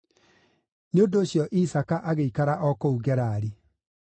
Nĩ ũndũ ũcio Isaaka agĩikara o kũu Gerari.